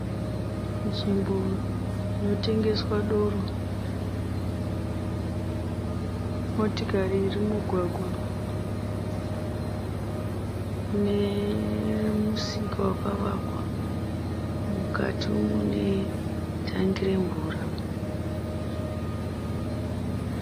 Nzvimbo inotengeswa doro. Motikari iri mumugwagwa nemusika wakavakwa. Mukati mune tangi remvura.